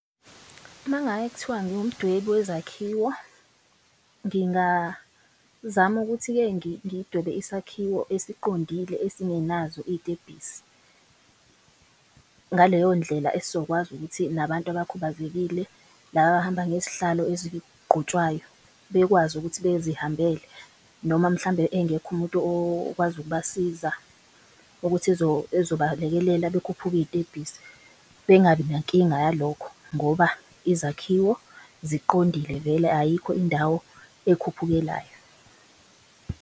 Mangake kuthiwa ngiwumdwebi wezakhiwo, ngingazama ukuthi-ke ngidwebe isakhiwo esiqondile esingenazo iy'tebhisi. Ngaleyo ndlela esokwazi ukuthi nabantu abakhubazekile laba abahamba ngezihlalo ezigqutshwayo bekwazi ukuthi bezihambele. Noma mhlambe engekho umuntu okwazi ukubasiza ukuthi ezobalekelela bekhuphuke iy'tebhisi bengabi nankinga yalokho ngoba izakhiwo ziqondile vele. Ayikho indawo ekhuphukelayo.